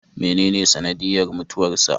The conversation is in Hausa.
Menene sanadiyyar mutuwarsa?